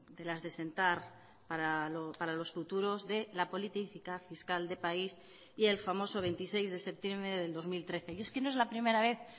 de las de sentar para los futuros de la política fiscal de país y el famoso veintiséis de septiembre del dos mil trece y es que no es la primera vez